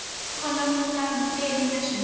Hvað á hann nákvæmlega við með þessu?